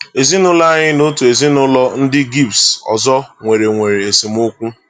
Ezinụụlọ anyị na otu ezinụụlọ ndị Gypsy ọzọ nwere nwere esemokwu.